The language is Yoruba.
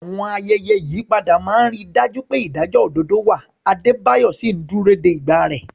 Àwọn ayẹyẹ ìyípadà máa ń rí i dájú pé ìdájọ́ òdodo wà, Adebayo sì ń dúró de ìgbà rẹ̀.